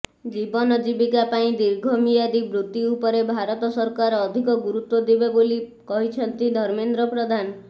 ଜୀବିନ ଜୀବିକା ପାଇଁ ଦୀର୍ଘମିଆଦି ବୃତ୍ତି ଉପରେ ଭାରତସରକାର ଅଧିକ ଗୁରୁତ୍ବ ଦେବେ ବୋଲି କହିଛନ୍ତି ଧର୍ମେନ୍ଦ୍ର ପ୍ରଧାନ